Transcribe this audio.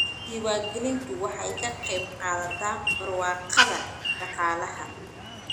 Diiwaangelintu waxay ka qayb qaadataa barwaaqada dhaqaalaha.